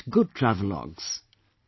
Write good travelogues